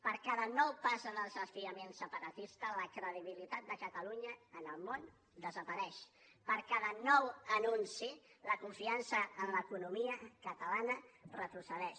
per cada nou pas del desafiament separatista la credibilitat de catalunya en el món desapareix per cada nou anunci la confiança en l’economia catalana retrocedeix